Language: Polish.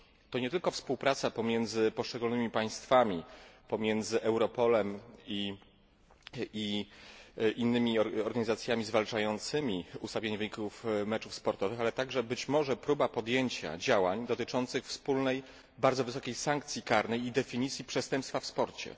To nie tylko współpraca pomiędzy poszczególnymi państwami, pomiędzy Europolem i innymi organizacjami zwalczającymi ustawianie wyników meczów sportowych, ale także być może próba podjęcia działań dotyczących wspólnej, bardzo wysokiej sankcji karnej i definicji przestępstwa w sporcie.